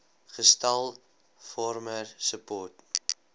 gestel farmer support